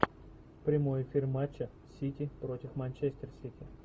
прямой эфир матча сити против манчестер сити